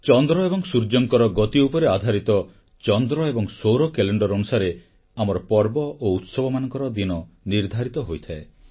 ଚନ୍ଦ୍ର ଏବଂ ସୂର୍ଯ୍ୟଙ୍କର ଗତି ଉପରେ ଆଧରିତ ଚନ୍ଦ୍ର ଏବଂ ସୌର କ୍ୟାଲେଣ୍ଡର ଅନୁସାରେ ଆମର ପର୍ବ ଓ ଉତ୍ସବମାନଙ୍କର ଦିନ ନିର୍ଦ୍ଧାରିତ ହୋଇଥାଏ